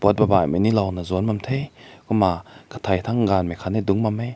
babai kum na b ao bam te kumna katai tang gan aakat dung bam meh.